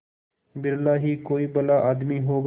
बिरला ही कोई भला आदमी होगा